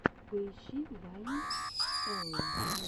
поищи вайн элло